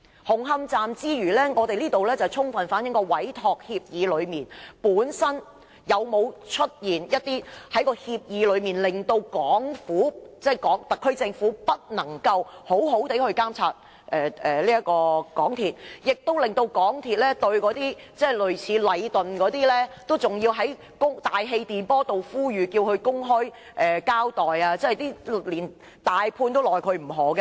紅磡站出事，充分反映在委託協議內，有沒有一些條款令香港特區政府不能好好監察港鐵公司，亦令港鐵公司要在大氣電波向禮頓建築有限公司這一類公司作公開呼籲，要求它公開交代，連大判都拿它沒辦法。